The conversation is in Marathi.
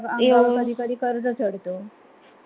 त्यांच्या वर कधी कधी कर्ज चडतो